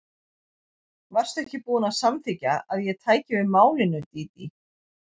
Varstu ekki búin að samþykkja að ég tæki við málinu, Dídí?